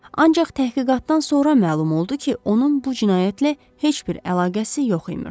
Ancaq təhqiqatdan sonra məlum oldu ki, onun bu cinayətlə heç bir əlaqəsi yox imiş.